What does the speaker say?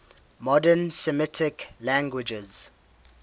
modern semitic languages